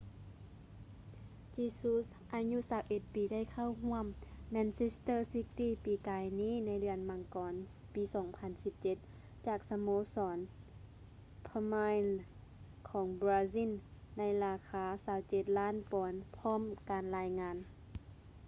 jesus ອາຍຸ 21 ປີໄດ້ເຂົ້າຮ່ວມ manchester city ປີກາຍນີ້ໃນເດືອນມັງກອນ ປີ 2017 ຈາກສະໂມສອນ palmeiras ຂອງບຣາຊິນໃນລາຄາ 27 ລ້ານປອນຕາມການລາຍງານ